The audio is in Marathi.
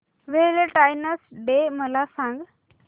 व्हॅलेंटाईन्स डे मला सांग